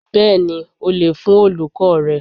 Bẹ́ẹ̀ni o lè fún Olùkọ́ọ̀ rẹ.